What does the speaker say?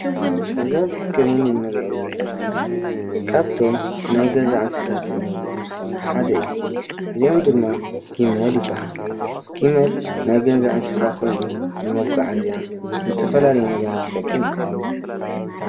እዚ አብ ስከሪነ እንሪኦ ዘለና ምስሊ ካብቶም ናይ ገዛ እንስሳ እንብሎም ዝኾኑ ሓደ እዩ፡፡ እዚኦም ድማ ግመል ይበሃሉ ግመል ናይ ገዛ እንስሳ ኮይኑ ንመጓዓዝያ ንዝተፈላለዩ ነገራት ዝጠቅም እዩ፡፡